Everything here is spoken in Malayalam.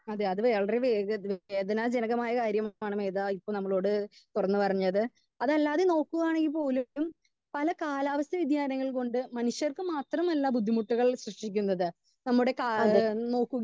സ്പീക്കർ 2 അത് അത് വളരെ വേദന ജനകമായ കാര്യമാണ് മേത ഇപ്പൊ നമ്മളോട് തുറന്ന് പറഞ്ഞത് അതല്ലാതെ നോക്കുകയാണെങ്കിൽ പോലും പല കാലാവസ്ഥ വേദിയാനങ്ങൾ കൊണ്ട് മനുഷ്യർക്ക് മാത്രമല്ല ബുന്ധിമുട്ടുകൾ സൃഷ്ടിക്കുന്നത്. നമ്മുടെ കാ നോക്കുകയാണെങ്കിൽ